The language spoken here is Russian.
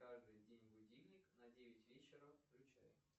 каждый день будильник на девять вечера включай